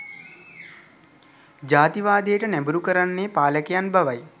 ජාතිවාදයට නැඹුරු කරන්නේ පාලකයන් බවයි